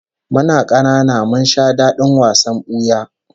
Muna kanana mun sha dadin wasan buya